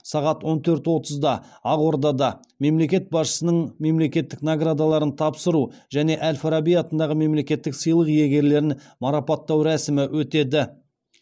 сағат он төрт отызда ақордада мемлекет басшысының мемлекеттік наградаларын тапсыру және әл фараби атындағы мемлекеттік сыйлық иегерлерін марапаттау рәсімі өтеді